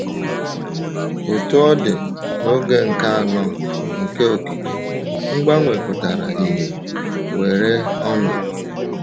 Otú ọ dị, n’oge nke anọ nke okike, mgbanwe pụtara ìhè weere ọnọdụ.